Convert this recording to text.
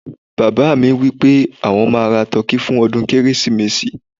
baba mi nipé àwọn ma ra tọki fún ọdún kérésìmesì